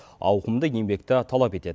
ауқымды еңбекті талап етеді